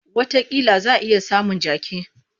Watakila za a iya samun jaki.